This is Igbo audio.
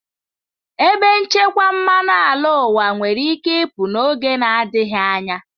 Ebe nchekwa mmanụ ala ụwa nwere ike ịpụ n'oge na-adịghị anya.